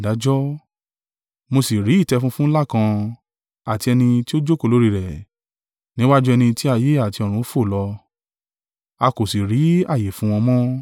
Mo sì rí ìtẹ́ funfun ńlá kan, àti ẹni tí ó jókòó lórí rẹ̀, níwájú ẹni tí ayé àti ọ̀run fò lọ; a kò sì rí ààyè fún wọn mọ́.